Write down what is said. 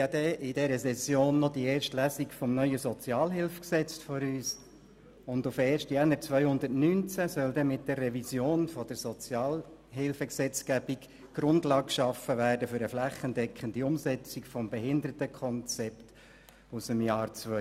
In dieser Session steht auch noch die erste Lesung des neuen SHG auf der Traktandenliste, und auf den 1. Januar 2019 soll mit der Revision der Sozialhilfegesetzgebung die Grundlage geschaffen werden für eine flächendeckende Umsetzung des Behindertenkonzepts aus dem Jahr 2011.